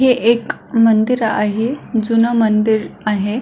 हे एक मंदिर आहे जुन मंदिर आहे.